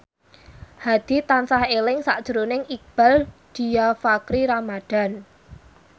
Hadi tansah eling sakjroning Iqbaal Dhiafakhri Ramadhan